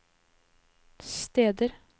steder